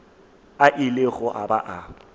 a ilego a ba a